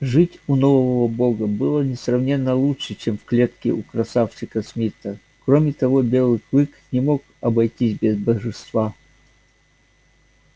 жить у нового бога было несравненно лучше чем в клетке у красавчика смита кроме того белый клык не мог обойтись без божества